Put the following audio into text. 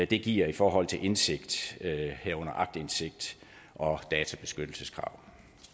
det giver i forhold til indsigt herunder aktindsigt og databeskyttelseskrav